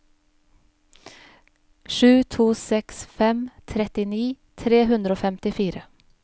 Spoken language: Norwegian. sju to seks fem trettini tre hundre og femtifire